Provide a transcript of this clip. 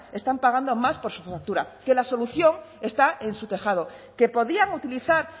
están pagando más por su factura que la solución está en su tejado que podían utilizar